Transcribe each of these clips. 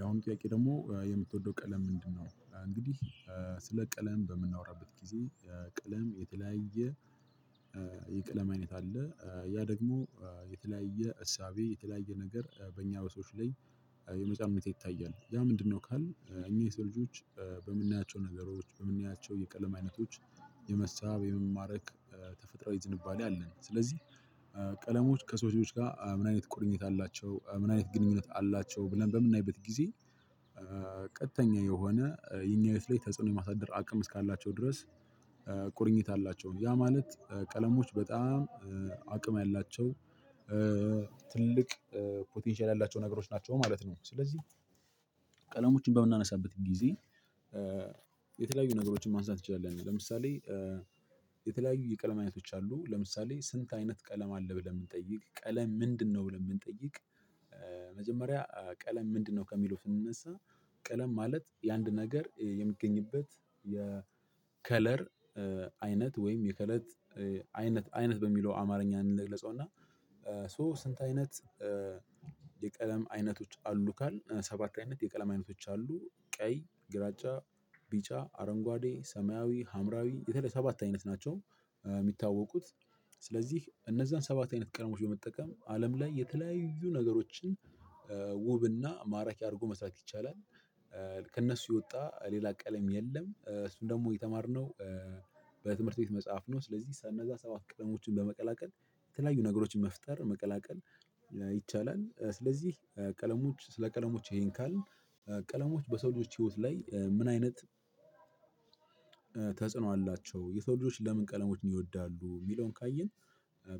ያውም ጥያቄ ደግሞ የምትወደው ቀለም ምንድነው? እንግዲህ ስለ ቀለም በምናወራበት ጊዜ ቀለም የተለያየ የቀለም አይነት አለ ያ ደግሞ የተለያየ እሳቤ የተለያየ ነገር በእኛ በሰዎች ላይ የመጫን ሁኔታ ይታያል። ያ ምንድነው ካልን እኛ የሰው ልጆች በምናያቸው ነገሮች በምናያቸው የቀለም አይነቶች የመሳብ የመማረክ ተፈጥሮአዊ ዝንባሌ አለን። ስለዚህ ቀለሞች ከሰዎች ጋር ምን አይነት ቁርኝት አላቸው ምን አይነት ግንኙነት አላቸው። ብለን በምናይበት ጊዜ ቀጥተኛ የሆነ የኛ ህይወት ላይ ተጽዕኖ የማሳደር አቅም እስካላቸው ድረስ ቁርኝት አላቸው ያ ማለት ቀለሞች በጣም አቅም ያላቸው ትልቅ ፖቴንሻል ያላቸው ነገሮች ናቸው ማለት ነው። ስለዚህ ቀለሞችን በምናነሳበት ጊዜ የተለያዩ ነገሮችን ማንሳት እንችላለን። ለምሳሌ የተለያዩ የቀለም አይነቶች አሉ ለምሳሌ ስንት አይነት ቀለም አለ ብለን ብንጠይቅ ቀለም ምንድነው ብለን ብንጠይቅ? መጀመሪያ ቀለም ምንድነው ከሚለው ስንነሳ ቀለም ማለት የአንድ ነገር የሚገኝበት የ ከለር አይነት ወይም የከለር አይነት አይነት በሚለው አማርኛ እንግለጸውና። ሶ ስንት አይነት የቀለም አይነቶች አሉ ካል ሰባት አይነት የቀለም አይነቶች አሉ ቀይ ግራጫ ቢጫ አረንጓዴ ሰማያዊ ሀምራዊ የተለያዩ ሰባት አይነት ናቸው። የሚታወቁት ስለዚህ እነዛን ሰባት አይነት ቀደሞች በመጠቀም አለም ላይ የተለያዩ ነገሮችን ውብና ማራኪ አድርጎ መስራት ይቻላል። ከእነሱ የወጣ ሌላ ቀለም የለም እሱን ደግሞ የተማርነው በትምህርት ቤት መጽሐፍ ነው። ስለዚህ ሰነበ ሰባት ቀለሞችን በመቀላቀል የተለያዩ ነገሮችን መፍጠር መቀላቀል ይቻላል። ስለዚህ ቀለሞች ስለ ቀለሞች ይሄን ካልን ቀለሞች በሰዎች ህይወት ላይ ምን አይነት ተጽዕኖ አላቸው። የሰው ልጆች ለምን ቀለሞችን ይወዳሉ የሚለውን ካየን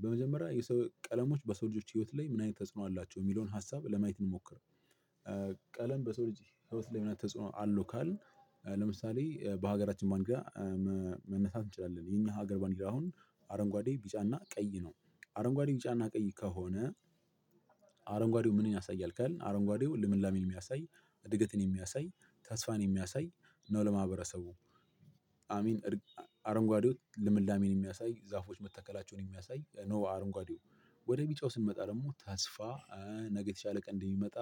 በመጀመሪያ የሰው ቀለሞች በሰው ልጆች ህይወት ላይ ምን አይነት ተጽዕኖ አላቸው የሚለውን ሀሳብ ለማየት እንሞክር። ቀለም በሰው ልጅ ህይወት ላይ ምን አይነት ተጽኖ አለው። ካልን ለምሳሌ በሀገራችን ባንዲራ መነሳት እንችላለን የኛ ሀገር ባንዲራ አሁን አረንጓዴ ቢጫና ቀይ ነው። አረንጓዴ ቢጫና ቀይ ከሆነ አረንጓዴው ምንን ያሳያል ካልን አረንጓዴው ለምላሜን የሚያሳይ እድገትን የሚያሳይ ተስፋን የሚያሳይ ነው። ለማህበረሰቡ አሚን አረንጓዴው ልምላሜን የሚያሳይ ዛፎች መተከላቸውን የሚያሳይ ነው። አረንጓዴው ወደ ቢጮው ስንመጣ ደግሞ ተስፋ ነገ የተሻለ ቀን እንደሚመጣ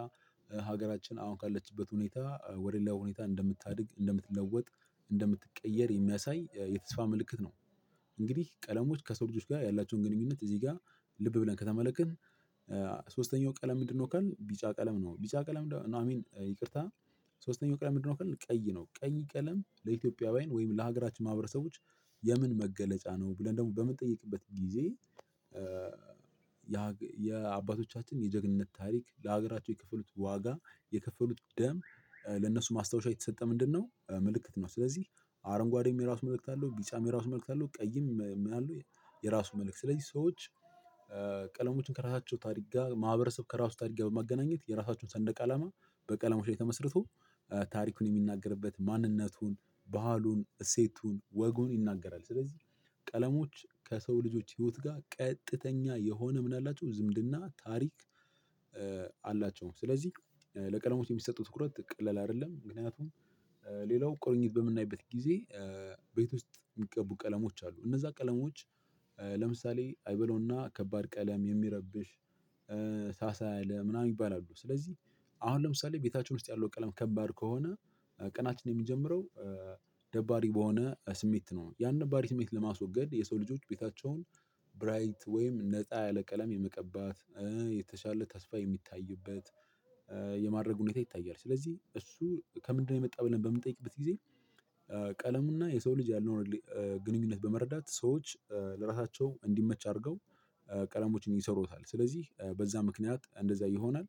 ሀገራችን አሁን ካለችበት ሁኔታ ወደ ሌላ ሁኔታ እንደምታድግ እንደምትለወጥ እንደምትቀየር የሚያሳይ የተስፋ ምልክት ነው። እንግዲህ ቀለሞች ከሰው ልጆች ጋር ያላቸውን ግንኙነት እዚህ ጋር ልብ ብለን ከተመለከንን ሶስተኛው ቀለም ምንድነው? ካልን ቢጫ ቀለም ነው። ቢጫ ቀለም ነው አይ ሚን ይቅርታ ሶስተኛው ቀለም ምንድነው? ካልን ቀይ ነው። ቀይ ቀለም ለኢትዮጵያውያን ወይም ለሀገራችን ማህበረሰቦች የምን መገለጫ ነው። ብለን ደግሞ በምንጠይቅበት ጊዜ የአባቶቻችን የጀግንነት ታሪክ ለሀገራቸው የከፈሉት ዋጋ የከፈሉት ደም ለነሱ ማስታወሻ የተሰጠ ምንድነው ምልክት ነው። ስለዚህ አረንጓዴም የራሱ መልእክት አለው። ቢጫም የራሱ መልእክት አለው። ቀይም ምን አለው? የራሱ መልእክት ስለዚህ ሰዎች ቀለሞችን ከራሳቸው ታሪክ ጋር ማህበረሰብ ከራሱ ታሪክ ጋር በማገናኘት የራሳቸውን ሰንደቅ አላማ በቀለሙ ላይ ተመስርቶ ታሪኩን የሚናገርበት ማንነቱን ባህሉን እሴቱን ወጉን ይናገራል። ስለዚህ ቀለሞች ከሰው ልጆች ህይወት ጋር ቀጥተኛ የሆነ ምን አላቸው ዝምድና ታሪክ አላቸው ስለዚህ ለቀለሞች የሚሰጠው ትኩረት ቀለል አይደለም። ምክንያቱም ሌላውን ቁርኝት በምናይበት ጊዜ ቤት ውስጥ የሚቀቡ ቀለሞች አሉ። እነዛ ቀለሞች ለምሳሌ አይበለውና ከባድ ቀለም የሚረብሽ ታሳ ያለ ምናምን ይሚባሉ አሉ። ስለዚህ አሁን ለምሳሌ ቤታችን ውስጥ ያለው ቀለም ከባድ ከሆነ ቅናችን የሚጀምረው ደባሪ በሆነ ስሜት ነው። ያን ደባሪ ስሜት ለማስወገድ የሰው ልጆች ቤታቸውን ብራይት ወይም ነጣ ያለ ቀለም የመቀባት የተሻለ ተስፋ የሚታይበት የማድረግ ሁኔታ ይታያል። ስለዚህ እሱ ከምንድነው የመጣው ብለን በምንጠይቅበት ጊዜ ቀለሙና የሰው ልጅ ያለውን ግንኙነት በመረዳት ሰዎች ለራሳቸው እንዲመች አድርገው ቀለሞችን ይሰሩታል። ስለዚህ በዛ ምክንያት እንደዛ ይሆናል።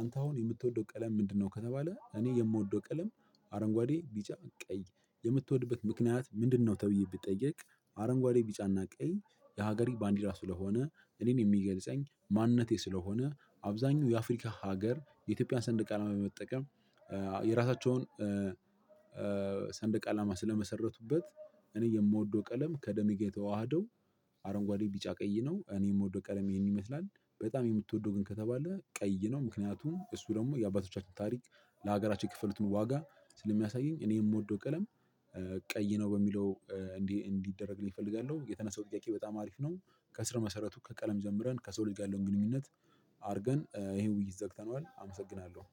አንተ አሁን የምትወደው ቀለም ምንድነው? ከተባለ እኔ የምወደው ቀለም አረንጓዴ ቢጫ ቀይ የምትወድበት ምክንያት ምንድነው? ተብዬ ብትጠየቅ አረንጓዴ ቢጫና ቀይ የሀገሪቱ ባንዲራ ስለሆነ እኔን የሚገልጸኝ ማንነቴ ስለሆነ አብዛኛው የአፍሪካ ሀገር የኢትዮጵያን ሰንደቅ አለም በመጠቀም የራሳቸውን ሰንደቅ አላማ ስለመሰረቱበት እኔ የምወደው ቀለም ከደሚ ጋር የተዋሃደው አረንጓዴ ቢጫ ቀይ ነው። እኔ የምወደው ቀለም ይሄን ይመስላል። በጣም የምትወደው ግን ከተባለ ቀይ ነው። ምክንያቱም እሱ ደግሞ የአባቶቻችን ታሪክ ለሀገራችን የከፈሉትን ዋጋ ስለሚያሳየኝ እኔ የምወደው ቀለም ቀይ ነው። በሚለው እንዲህ እንዲደረግልኝ ፈልጋለው የተነሳው ጥያቄ በጣም አሪፍ ነው። ከስረ መሰረቱ ከቀለም ጀምረን ከሰው ልጅ ያለውን ግንኙነት አድርገን ይሄን ውይይት ዘግተነዋል። አመሰግናለሁ።